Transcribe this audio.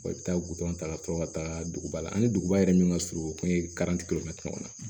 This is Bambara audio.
i bɛ taa gudɔrɔn ta ka sɔrɔ ka taga duguba la ani duguba yɛrɛ min ka surun o kun ye